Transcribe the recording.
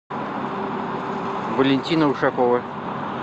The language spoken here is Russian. валентина ушакова